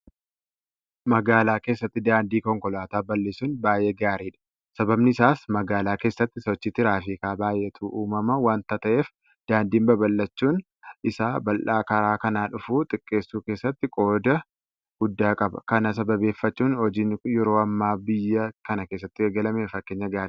Magaalaa keessatti daandii konkolaataa bal'isuun baay'ee gaariidha. Sababni isaas magaalaa keessatti sochii tiraafikaa baay'eeytu uumama waanta ta'eef daandiin bal'achuun isaa balaa karaa kanaa dhufu xiqqeessuu keessatti qooda guddaa qaba. Kana sababeeffachuudhaan hojiin yeroo ammaa biyya kana keessatti eegalame fakkeenya gaariidha.